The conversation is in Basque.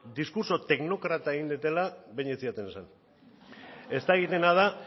diskurtso teknokratika egin dudala behin ere ez zidaten esan ez dakidana da